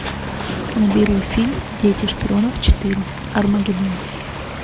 набери фильм дети шпионов четыре армагедон